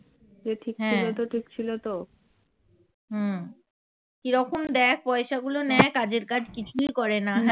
হ্যা হুম কিরকম দেখ পয়সা গুলো নেয় কাজের কাজ কিছুই করে না